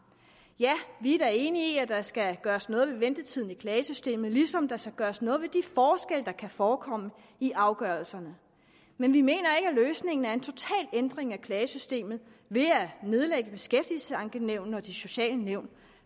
ja vi er da enige i at der skal gøres noget ved ventetiden i klagesystemet ligesom der skal gøres noget ved de forskelle der kan forekomme i afgørelserne men vi mener ikke at løsningen er en total ændring af klagesystemet ved at nedlægge beskæftigelsesankenævnene og de sociale nævn